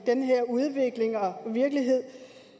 den her udvikling og virkelighed